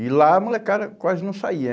E lá a molecada quase não saía.